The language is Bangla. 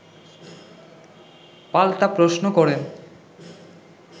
পাল্টা প্রশ্ন করেন